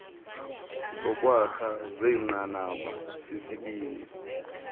zokwakha zenqanaba lesibini